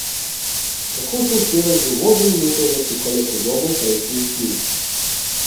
Tako so včeraj že uvodne minute zasukale podobo prejšnjih dni.